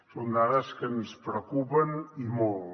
són dades que ens preocupen i molt